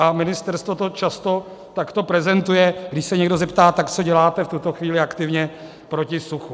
A ministerstvo to často takto prezentuje, když se někdo zeptá: tak co děláte v tuto chvíli aktivně proti suchu?